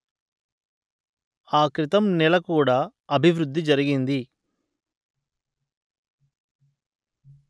ఆ క్రితం నెల కూడా అభివృద్ధి జరిగింది